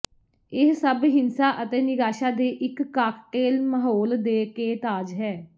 ਇਹ ਸਭ ਹਿੰਸਾ ਅਤੇ ਨਿਰਾਸ਼ਾ ਦੇ ਇੱਕ ਕਾਕਟੇਲ ਮਾਹੌਲ ਦੇ ਕੇ ਤਾਜ ਹੈ